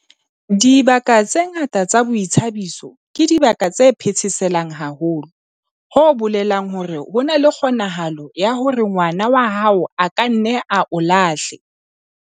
Dibaka tse ngata tsa boithabiso ke dibaka tse phetheselang haholo, ho bolelang hore ho na le kgonahalo ya hore ngwana wa hao a ka nna a o lahle.